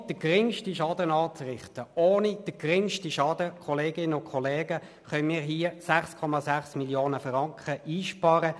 Ohne den geringsten Schaden anzurichten, können wir mit dieser Massnahme 6,6 Mio. Franken sparen.